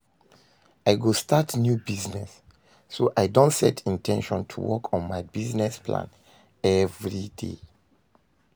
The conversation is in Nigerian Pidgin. I go start new business, so i don set in ten tion to work on my business plan every day.